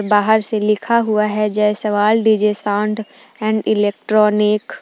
बाहर से लिखा हुआ है Jaiswal DJ sound and electronic.